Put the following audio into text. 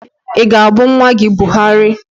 I ga-abụ nwa gị Buhari?